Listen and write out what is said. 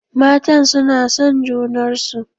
Matan suna son junarsu.